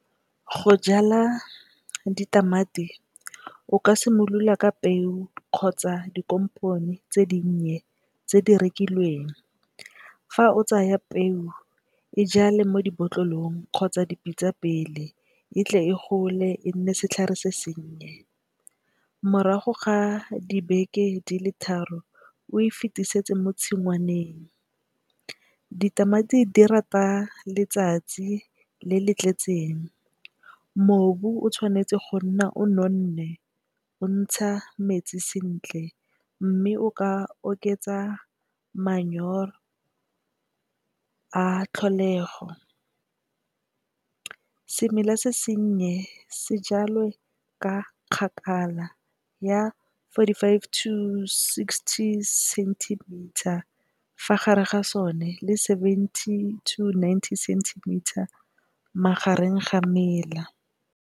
Go jala ditamati o ka simolola ka peo kgotsa dikompone tse dinnye tse di rekilweng fa o tsaya peo e jale mo dibotlolong kgotsa dipitsa pele e tle e gole e nne setlhare se sennye morago ga dibeke di le tharo o e fetisetse mo tshingwaneng. Ditamati di rata letsatsi le le tletseng, mobu o tshwanetse go nna o nonne o ntsha metsi sentle mme, o ka oketsa manyoro a tlholego, semela se sennye sejalo ka kgakala ya forty five to sixty centimeter fa gare ga sone le seventy to ninety centimetre magareng ga mela.